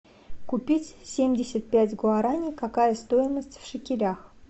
купить семьдесят пять гуарани какая стоимость в шекелях